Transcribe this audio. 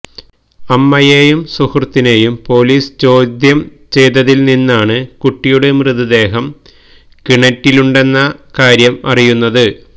അമ്മയെയും സുഹൃത്തിനെയും പോലീസ് ചോദ്യം ചെയ്തതില്നിന്നാണ് കുട്ടിയുടെ മൃതദേഹം കിണറ്റിലുണ്ടെന്ന കാര്യം അറിയുന്നത്